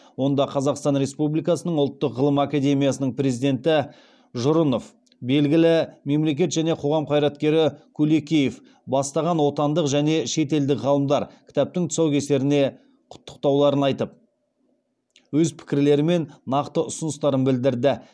онда қазақстан республикасының ұлттық ғылым академиясының президенті жұрынов белгілі мемлекет және қоғам қайраткері кулекеев бастаған отандық және шетелдік ғалымдар кітаптың тұсаукесеріне құттықтауларын айтып өзпікірлері мен нақты ұсыныстарын білдірді